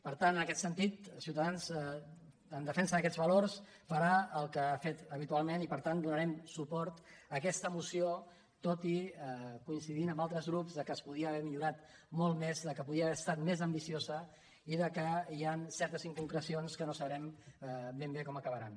per tant en aquest sentit ciutadans en defensa d’aquests valors farà el que ha fet habitualment i per tant donarem suport a aquesta moció tot i coincidir amb altres grups que es podria haver millorat molt més que podria haver estat més ambiciosa i que hi han certes inconcrecions que no sabrem ben bé com acabaran